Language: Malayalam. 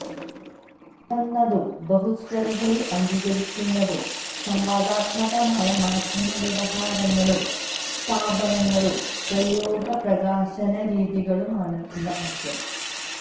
തുറന്നതും ബഹുസ്വരതയെ അംഗീകരിക്കുന്നതും സംവാദാത്മകമായ മാധ്യമവ്യവഹാരങ്ങളും സ്ഥാപനങ്ങളും പ്രയോഗപ്രകാശനരീതികളും ആണ് ഇന്ന് ആവശ്യം